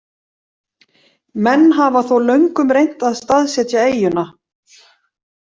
Menn hafa þó löngum reynt að staðsetja eyjuna.